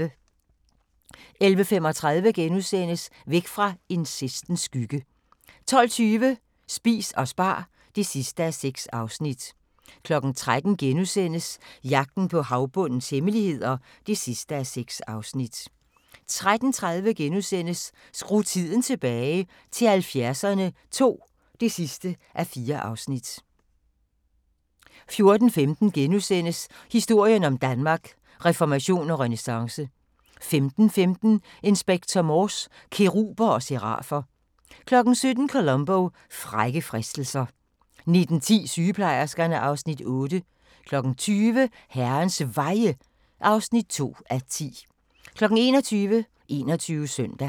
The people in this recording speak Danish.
11:35: Væk fra incestens skygge * 12:20: Spis og spar (6:6) 13:00: Jagten på havbundens hemmeligheder (6:6)* 13:30: Skru tiden tilbage – til 70'erne II (4:4)* 14:15: Historien om Danmark: Reformation og renæssance * 15:15: Inspector Morse: Keruber og serafer 17:00: Columbo: Frække fristelser 19:10: Sygeplejerskerne (Afs. 8) 20:00: Herrens Veje (2:10) 21:00: 21 Søndag